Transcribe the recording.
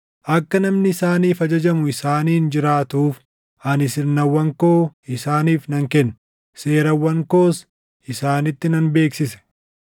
Akka namni isaaniif ajajamu isaaniin jiraatuuf ani sirnawwan koo isaaniif nan kenne; seerawwan koos isaanitti nan beeksise.